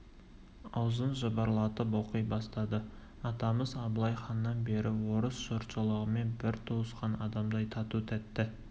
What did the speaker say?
аузын жыбырлатып оқи бастады атамыз абылай ханнан бері біз орыс жұртшылығымен бір туысқан адамдай тату-тәтті